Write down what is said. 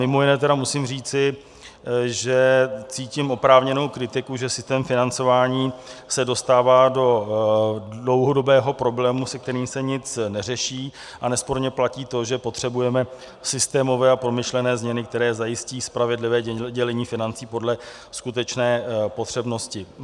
Mimo jiné musím říci, že cítím oprávněnou kritiku, že systém financování se dostává do dlouhodobého problému, se kterým se nic neřeší, a nesporně platí to, že potřebujeme systémové a promyšlené změny, které zajistí spravedlivé dělení financí podle skutečné potřebnosti.